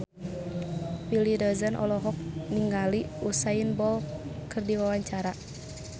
Willy Dozan olohok ningali Usain Bolt keur diwawancara